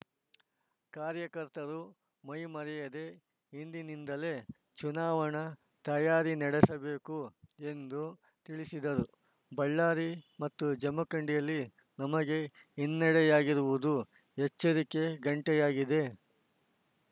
ಕಾರ್ಯಕರ್ತರು ಮೈಮರೆಯದೇ ಇಂದಿನಿಂದಲೇ ಚುನಾವಣಾ ತಯಾರಿ ನಡೆಸಬೇಕು ಎಂದು ತಿಳಿಸಿದರು ಬಳ್ಳಾರಿ ಮತ್ತು ಜಮಖಂಡಿಯಲ್ಲಿ ನಮಗೆ ಹಿನ್ನಡೆಯಾಗಿರುವುದು ಎಚ್ಚರಿಕೆ ಘಂಟೆಯಾಗಿದೆ